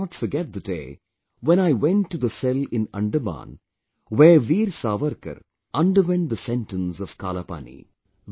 I cannot forget the day when I went to the cell in Andaman where Veer Savarkar underwent the sentence of Kalapani